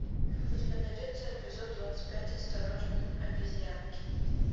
у тебя найдется эпизод двадцать пять осторожно обезьянки